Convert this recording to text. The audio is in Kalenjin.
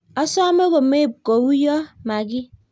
Osome komeib kouyo makiy